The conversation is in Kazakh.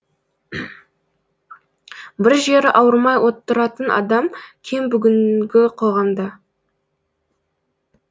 бір жері ауырмай отыратын адам кем бүгінгі қоғамда